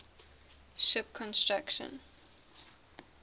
ship construction